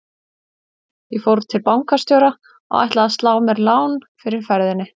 Ég fór til bankastjóra og ætlaði að slá mér lán fyrir ferðinni.